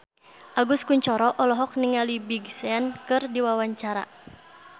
Agus Kuncoro olohok ningali Big Sean keur diwawancara